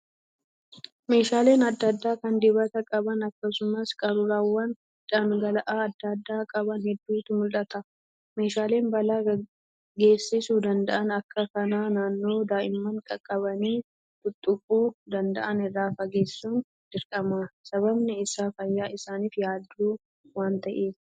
Meeshaaleen adda adda kan dibata qaban akkasumas qaruuraawwan dhangala'aa adda addaa qaban hedduutu mul'ata. Meeshaalee balaa geessisuu danda'aan akka kanaa naannoo daa'imman qaqqabanii xuxxuquu danda'aan irra fageessuun dirqama. sababiin iaa fayyaa isaaniif yaaddoo waan ta'eef.